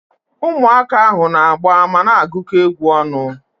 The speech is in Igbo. Ụmụaka ahu na-agba mana agukọ egwu ọnụ